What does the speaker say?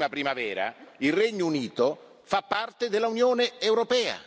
E Le ricordo, onorevole Farage, che fino alla prossima primavera il Regno Unito fa parte dell'Unione europea,